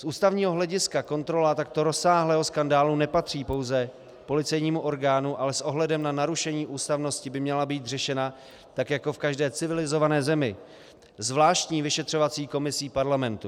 Z ústavního hlediska kontrola takto rozsáhlého skandálu nepatří pouze policejnímu orgánu, ale s ohledem na narušení ústavnosti by měla být řešena, tak jako v každé civilizované zemi, zvláštní vyšetřovací komisí parlamentu.